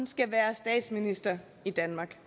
skal være statsminister i danmark